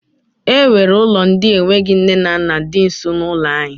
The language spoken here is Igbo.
E nwere ụlọ ndị enweghị nne na nna di nso n'ụlọ anyị